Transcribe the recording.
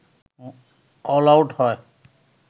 all out হয়